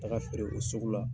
Taga feere o sugu la.